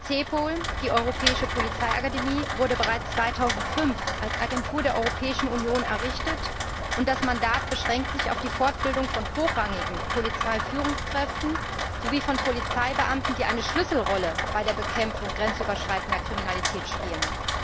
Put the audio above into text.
CEPOL, die Europäische Polizeiakademie, wurde bereits 2005 als Agentur der Europäischen Union errichtet, und das Mandat beschränkt sich auf die Fortbildung von hochrangigen Polizeiführungskräften sowie von Polizeibeamten, die eine Schlüsselrolle bei der Bekämpfung grenzüberschreitender Kriminalität spielen.